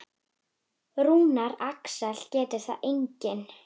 Rúnar Alex getur það einnig.